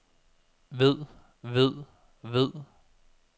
ved ved ved